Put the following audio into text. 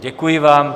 Děkuji vám.